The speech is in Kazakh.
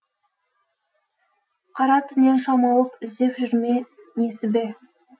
қара түннен шам алып іздеп жүр ме несібе